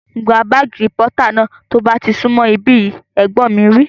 Gba bààgì rìpọ́tà náà tí ó bá ti sún mọ̀ ibí yìí! Ẹ̀gbọ́n mi wí